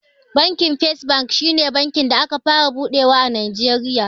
Bankin fes bank shi ne bankin da aka fara buɗewa a najeriya